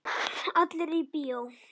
Allir í bíó!